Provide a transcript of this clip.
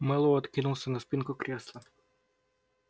мэллоу откинулся на спинку кресла